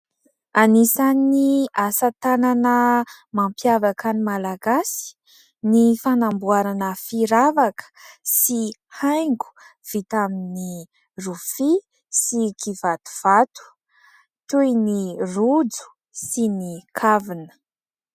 Anisan'ny asa tanana mampiavaka ny Malagasy ny fanamboarana firavaka sy haingo vita amin'ny rofia sy kivatovato, toy ny rojo sy ny kavina.